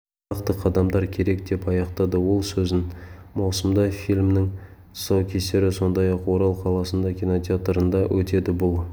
нақты қадамдар керек деп аяқтады ол сөзін маусымда фильмнің тұсаукесері сондай-ақ орал қаласында кинотеатрында өтеді бұл